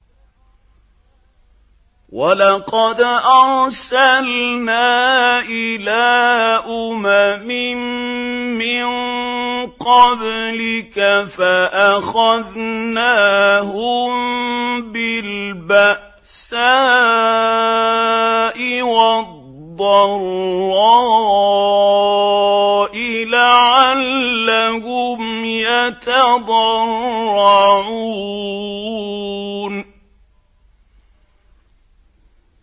وَلَقَدْ أَرْسَلْنَا إِلَىٰ أُمَمٍ مِّن قَبْلِكَ فَأَخَذْنَاهُم بِالْبَأْسَاءِ وَالضَّرَّاءِ لَعَلَّهُمْ يَتَضَرَّعُونَ